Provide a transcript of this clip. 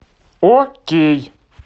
окей